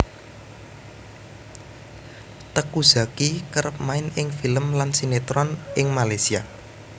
Teuku Zacky kerep main ing film lan sinetron ing Malaysia